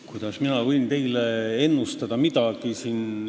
Kuidas võin mina teile midagi ennustada?